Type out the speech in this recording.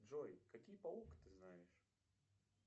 джой какие паук ты знаешь